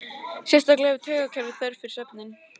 Sérstaklega hefur taugakerfið þörf fyrir svefninn.